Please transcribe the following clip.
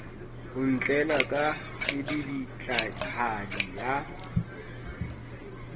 o ntlela ka kedibitlahadi ya